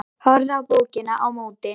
Horfði á blokkina á móti.